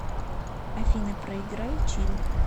афина проиграй чилл